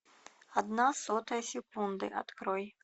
одна сотая секунды открой